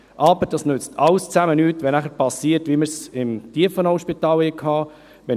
Aber das nützt alles zusammen nichts, wenn dann so etwas passiert, wie wir es im Tiefenauspital hatten.